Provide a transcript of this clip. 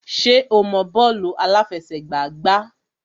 Ṣé o mọ bọ́ọ̀lù àláfẹsẹ̀gbá gbá?